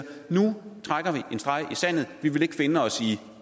nu trækker vi en streg i sandet vi vil ikke finde os i